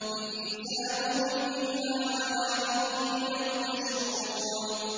إِنْ حِسَابُهُمْ إِلَّا عَلَىٰ رَبِّي ۖ لَوْ تَشْعُرُونَ